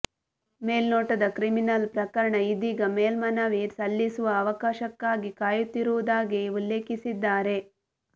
ಮೇಲ್ನೋಟದ criminal ಪ್ರಕರಣ ಇದೀಗ ಮೇಲ್ಮನವಿ ಸಲ್ಲಿಸುವ ಅವಕಾಶಕ್ಕಾಗಿ ಕಾಯುತ್ತಿರುವುದಾಗಿ ಉಲ್ಲೇಖಿಸಿದ್ದಾರೆ